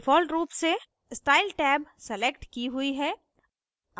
default रूप से style tab select की हुई है